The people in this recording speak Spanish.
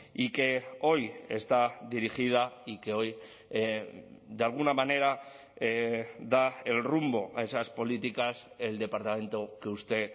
y que hoy está dirigida y que hoy de alguna manera da el rumbo a esas políticas el departamento que usted